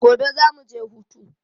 Gobe za mu je hutu.